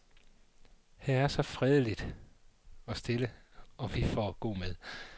Her er stille og fredeligt, og vi får god mad.